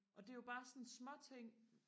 og det er jo bare sådan småting